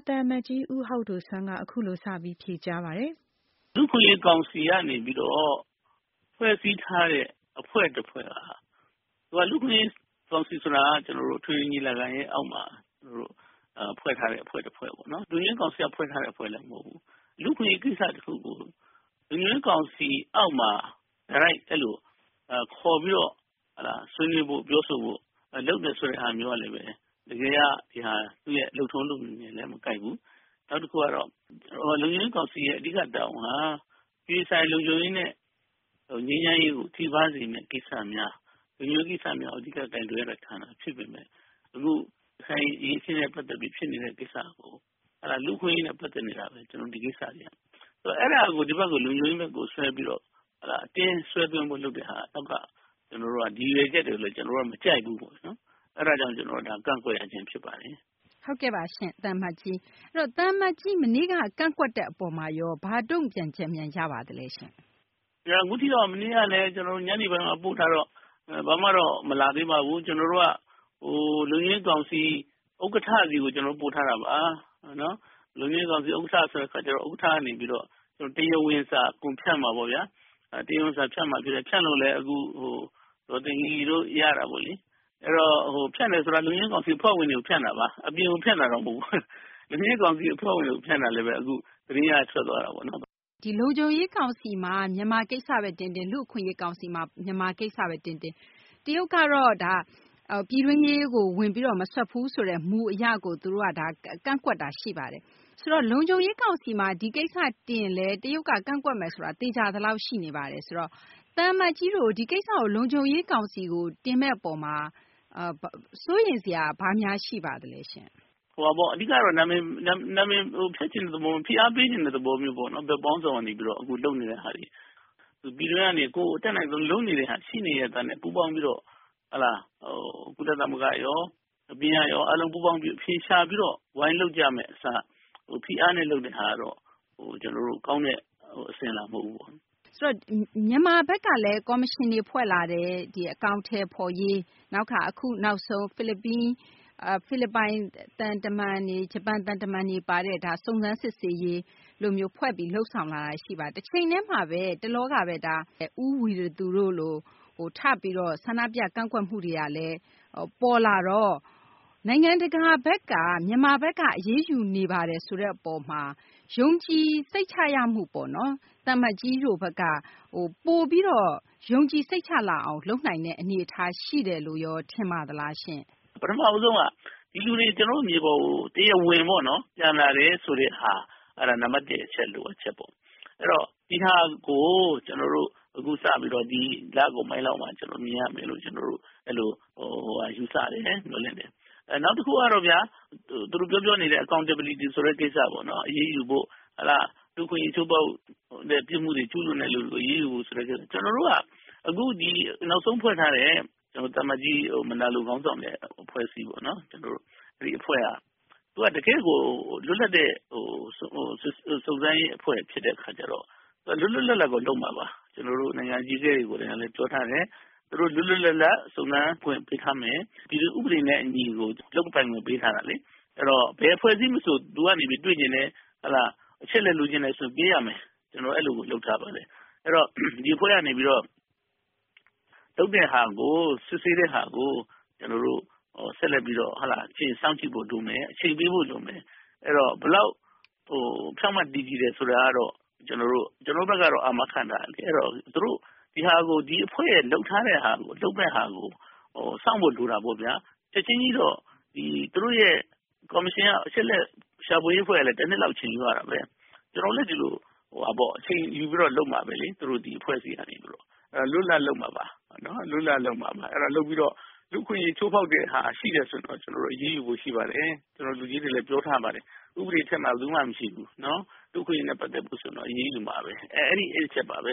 သံအမတ်ကြီး ဟောက်ဒိုဆွမ်း။ ။ လူ့အခွင့်အရေး ကောင်စီကနေပြီးတော့ ဖွဲ့စည်းထားတဲ့ အဖွဲ့တဖွဲ့က၊ လူ့အခွင့်အရေး ကောင်စီဆိုတာက အထွေထွေ ညီလာခံရဲ့အောက်မှာ ဖွဲ့ထားတဲ့ အဖွဲ့ တဖွဲ့ပေါ့နော်။ လုံခြုံရေးကောင်စီက ဖွဲ့ထားတဲ့ အဖွဲ့လည်း မဟုတ်ဘူး။ လူ့အခွင့်အရေး ကိစ္စ တခုကို လုံခြုံရေး ကောင်စီအောက်မှာ တိုက်ရိုက် အဲလို ခေါ်ပြီး ဆွေးနွေးဖို့ ပြောဆိုဖို့ လုပ်နေတယ်ဆိုတဲ့ ဟာမျိုးကလည်းပဲ တကယ်က သူ့ရဲ့ လုပ်ထုံး လုပ်နည်းနဲ့လည်း မကိုက်ဘူး။ နောက်တခုကတော့ လုံခြုံရေး ကောင်စီရဲ့ အဓိက တာဝန်က အပြည်ပြည်ဆိုင်ရာ လုံခြုံရေးနဲ့ ငြိမ်းချမ်းရေးကို ထိပါးစေမယ့် ကိစ္စများ၊ လုံခြုံရေး ကိစ္စများကို အဓိက ကိုင်တွယ်ရတဲ့ ဌာန ဖြစ်ပေမယ့် ရခိုင်အရေးအခင်းနဲ့ ပတ်သက်ပြီး ဖြစ်နေတဲ့ ကိစ္စကို လူ့အခွင့်အရေးနဲ့ ပတ်သက်နေတာဘဲ ဒီကိစ္စတွေက အဲဒါကို ဒီဘက်ကို လုံခြုံရေးဘက်ကို ဆွဲပြီးတော့ အတင်းဆွဲဖို့ လုပ်တဲ့ ကိစ္စက ဒီရည်ရွယ်ချက်ကိုလည်း ကျနော်တို့က မကြိုက်ဘူး။ အဲဒါကြောင့် ဒါကို ကန့်ကွက်ရခြင်း ဖြစ်ပါတယ်။ သိင်္ဂ ီထိုက်။ ။ ဟုတ်ကဲ့ပါရှင့် သံအမတ်ကြီး။ သံအမတ်ကြီး မနေ့က ကန့်ကွက်တဲ့ အပေါ် ဘာတုံ့ပြန်ချက်များ ရပါသလဲရှင့်။ သံအမတ်ကြီး ဟောက်ဒိုဆွမ်း။ ။ အခုထိတော့ မနေ့ကလည်း ကျနော်တို့ ညနေပိုင်းမှ ပို့ထားတော့ ဘာမှတော့ မလာသေးပါဘူး။ ကျနော်တို့က လုံခြုံရေး ကောင်စီ ဥက္ကဌ ဆီကို ကျနော်တို့က ပို့ထားတာပါ။ လုံခြုံရေးကောင်စီ ဥက္ကဌ ဆိုတဲ့ အခါကျတော့ ဥက္ကကနေပြီးတော့ တရားဝင်စာ အကုန်ဖြန့်မှာပေါ့ဗျာ။ ဖြန့်လို့လည်း အခု ဒေါ်သိင်္ဂ ီတို့ ရတာပေါ့လေ။ ဖြန့်တယ်ဆိုတာ လုံခြုံရေး ကောင်စီ အဖွဲ့ဝင်တွေကိုဘဲ ဖြန့်တာပါ။ အပြင်ကို ဖြန့်တာတော့ မဟုတ်ပါဘူး။ လုံခြုံရေး ကောင်စီ အဖွဲ့ဝင်ကို ဖြန့်တာလည်းဘဲ အခု သတင်းက ထွက်သွားတာပေါ့နော်။ သိင်္ဂ ီထိုက်။ ။ ဒီ လုံခြုံရေး ကောင်စီမှာ မြန်မာ ကိစ္စဘဲ တင်တင်၊ လူ့အခွင့်အရေး ကောင်စီမှာ မြန်မာ ကိစ္စဘဲ တင်တင် တရုတ်ကတော့ ပြည်တွင်းရေးကို ဝင်ပြီး မစွက်ဘူးဆိုတဲ့ မူအရကို ကန့်ကွက်နေတာပါ။ ဆိုတော့ လုံခြုံရေး ကောင်စီမှာ ဒီကိစ္စ တင်ရင်လည်း တရုတ်က ကန့်ကွက်မယ်ဆိုတာ သေချာသလောက် ရှိနေပါတယ်။ ဆိုတော့ သံအမတ်ကြီးတို့ ဒီကိစ္စကို လုံခြုံရေး ကောင်စီကို တင်မယ့်အရေးမှာ စိုးရိမ်စရာ ဘာများရှိပါသလဲရှင့်။ သံအမတ်ကြီး ဟောက်ဒိုဆွမ်း။ ။ အဓိကကတော့ နာမည်ဖျက်ချင်တဲ့ သဘော၊ ဖိအားပေးချင်တဲ့ သဘော မျိုးပေါ့နော်။ ဘက်ပေါင်းစုံက နေပြီးတော့ အခုလုပ်နေတဲ့ဟာတွေက။ ပြည်တွင်းကနေ ကိုယ်အတတ်နိုင်ဆုံး လုပ်နေတဲ့ဟာတွေ ရှိနေရဲ့သားနဲ့ ပူးပေါင်းပြီးတော့ ကုလသမဂ္ဂရော၊ အပြင်ကရော အားလုံး ပူးပေါင်းပြီးတော့ အဖြေရှာပြီး ဝိုင်းလုပ်ကြမယ့် အစား ဖိအားနဲ့ လုပ်တဲ့ဟာကတော့ ကျနော်တို့ ကောင်းတဲ့ အစဉ်အလာ မဟုတ်ဘူးပေါ့။ သိင်္ဂ ီထိုက်။ ။ ဆိုတော့ မြန်မာဘက်ကလည်း ကော်မရှင်တွေ ဖွဲ့လာတယ်။ အကောင်အထည်ဖော်ရေး၊ နောက်တခါ အခုနောက်ဆုံး ဖိလစ်ပိုင် သံတမန်တွေ၊ ဂျပန် သံတမန်တွေ ပါတဲ့ စုံစမ်းစစ်ဆေးရေး အဖွဲ့လို လုပ်ဆောင်လာတာတွေ ရှိပါတယ်။ တချိန်တည်းမှာဘဲ မကြာခင်က ဦးဝီရသူတို့လို ထပြီးတော့ ဆန္ဒပြ ကန့်ကွက်မှုတွေကလည်း ပေါ်လာတော့ နိုင်ငံတကာဘက်က မြန်မာဘက်က အရေးယူနေပါတယ်ဆိုတဲ့ အပေါ်မှာ ယုံကြည်စိတ်ချရမှုပေါ့နော် သံအမတ်ကြီးတို့ဘက်က ပိုပြီးတော့ ယုံကြည်စိတ်ချလာအောင် လုပ်နိုင်တဲ့ အနေအထား ရှိတယ်လို့ရော ထင်ပါသလားရှင့်။ သံအမတ်ကြီး ဟောက်ဒိုဆွမ်း။ ။ ပထမဦးဆုံးက ဒီလူတွေ ကျနော်တို့ မြေပေါ်ကို တရားဝင်ပေါ့နော် ပြန်လာတယ်ဆိုတဲ့ဟာ အဲဒါ နံပတ် ၁ အချက် လိုအပ်ချက်ပေါ့။ ဒီဟာကို ကျနော်တို့ အခုစပြီးတော့ ဒီလကုန်ပိုင်းလောက်မှာ မြင်ရမယ်လို့ ယူဆတယ်။ နောက်တခုကတော့ဗျာ သူတို့ ပြောပြောနေတဲ့ Accountability ဆိုတဲ့ ကိစ္စပေါ့။ အရေးယူဖို့ လူ့အခွင့်အရေး ချိုးဖောက်တဲ့ ပြစ်မှုတွေ ကျူးလွန်သူတွေကို အရေးယူဖို့ ဆိုတဲ့ ကိစ္စတွေ။ ကျနော်တို့က အခုနောက်ဆုံး ဖွဲ့ထားတဲ့ သံအမတ်ကြီး မယ်နာလို ခေါင်းဆောင်တဲ့ အဖွဲ့အစည်းပေါ့နော်။ သူက တကယ့်ကို လွတ်လပ်တဲ့ စုံစမ်းရေး အဖွဲ့ ဖြစ်တဲ့ အခါကျတော့ သူက လွတ်လွတ်လပ်လပ်ကို လုပ်မှာပါ။ ကျနော်တို့ နိုင်ငံ အကြီးအကဲတွေ ကိုယ်တိုင်က ပြောထားတယ်။ သူတို့ လွတ်လွတ်လပ်လပ် စုံစမ်းခွင့် ပေးထားမယ်။ ဥပဒေနဲ့ အညီကို လုပ်ပိုင်ခွင့် ပေးထားတယ်လေ။ အဲဒီတော့ ဘယ်အဖွဲ့အစည်း မဆို လိုအပ်တယ် တွေ့ချင်တယ် အချက်အလက် လိုချင်တယ်ဆိုရင် ပေးရမယ်။ ကျနော်တို့ အဲလိုကို လုပ်ထားပါတယ်။ အဲဒီတော့ ဒီအဖွဲ့ကနေ လုပ်တဲ့ဟာကို စစ်ဆေးတဲ့ဟာကို ကျနော်တို့ ဆက်လက်ပြီးတော့ အချိန်စောင့်ကြည့်ဖို့ လိုမယ်။ အချိန်ပေးဖို့ လိုမယ်။ ဘယ်လောက် ဖြောင့်မတ်တည်ကြည်တယ် ဆိုတာကတော့ ကျနော်တို့ဘက်ကတော့ အာမခံထားတယ်လေ။ အဲတော့ သူတို့ ဒီအဖွဲ့ရဲ့ လုပ်ထားတဲ့ ဟာကို စောင့်ဖို့ လိုတာပေါ့ဗျာ။ ချက်ချင်းကြီးတော့ သူတို့ရဲ့ ကော်မရှင်က အချက်အလက် ရှာဖွေရေး အဖွဲ့ကလည်း တနှစ်လောက်တော့ အချိန်ယူရတာဘဲ။ ကျနော်တို့လည်း ဒီလို အချိန်ယူပြီးဘဲ လုပ်မှာဘဲလေ။ သူတို့ ဒီအဖွဲ့အစည်းကနေ လွတ်လွတ်လပ်လပ် လုပ်မှာပါ။ အဲတော့ လုပ်ပြီးတော့ လူ့အခွင့်အရေး ချိုးဖောက်တဲ့ဟာ ရှိတယ်ဆိုရင်တော့ သူတို့ အရေးယူဖို့ ရှိပါတယ်။ လူကြီးတွေလည်း ပြောထားပါတယ်။ ဥပဒေ အထက်မှာ ဘယ်သူမှ မရှိဘူး။ လူ့အခွင့်အရေးနဲ့ ပတ်သက်လို့ရှိရင် အရေးယူမှာဘဲ။ အဲဒီ အချက်ပါဘဲ